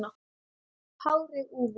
Hárið úfið.